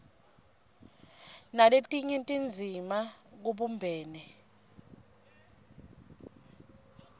naletinye tindzima kubumbene